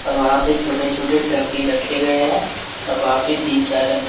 और वहां पे छोटे छोटे टब भी रखे गए हैं और वहां पे तीन चार रंग--